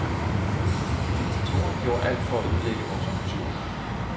Diktatoren gjorde alt for at ødelægge vores kultur.